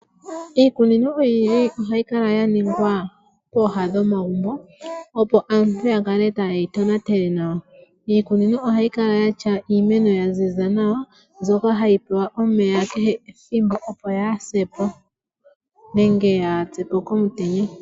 Iikunino oyindji oha yi kala ya ningwa pooha dhomagumbo opo aantu ya kale taye yi tonatele nawa. Iikunino oha yi kala yatya iimeno ya ziza nawa mbyoka hayi pewa omeya kehe ethimbo opo yaasepo nenge yaapyepo komutenya.